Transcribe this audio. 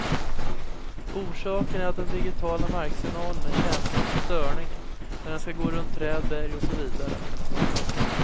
Orsaken är att den digitiala marksignalen är känslig för störningar när den skall gå runt träd, berg och så vidare.